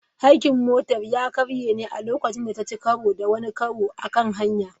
Haykin motar ya karye ne a lokacin da ta ci karo da wani karo a kan hanya.